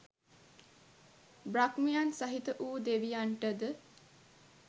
බ්‍රහ්මයන් සහිත වු දෙවියන්ටද